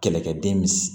Kɛlɛkɛden mis